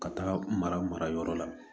Ka taaga marayɔrɔ la